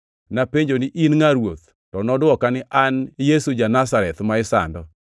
“Napenjo ni, ‘In ngʼa, Ruoth?’ “To nodwoka ni, ‘An Yesu ja-Nazareth, ma isando.’